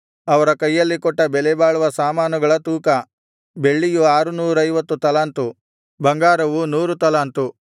ಅವರ ಕೈಯಲ್ಲಿ ಕೊಟ್ಟ ಬೆಲೆಬಾಳುವ ಸಾಮಾನುಗಳ ತೂಕ ಬೆಳ್ಳಿಯು ಆರುನೂರೈವತ್ತು ತಲಾಂತು ಬಂಗಾರವು ನೂರು ತಲಾಂತು